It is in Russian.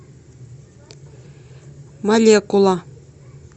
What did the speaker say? молекула